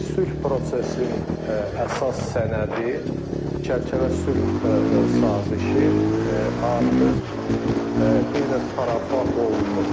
Sülh prosesinin əsas sənədi, çərçivə sülh sazişi artıq bir növ parafa olunub.